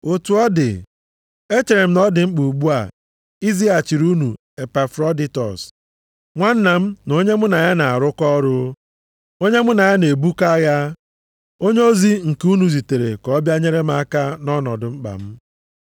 Otu ọ dị, echere m na ọ dị mkpa ugbu a izighachiri unu Epafroditọs, nwanna m na onye mụ na ya na-arụkọ ọrụ, onye mụ na ya na-ebukọ agha, onyeozi nke unu zitere ka ọ bịa nyere m aka nʼọnọdụ mkpa m.